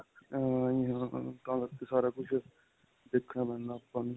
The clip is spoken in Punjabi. ਹਾਹਾ ਹਾਂਜੀ ਹਾਂ ਤਾਂ ਕਰਕੇ ਸਾਰਾ ਕੁਝ ਦੇਖਣਾ ਪੈਂਦਾ ਆਪਾਂ ਨੂੰ.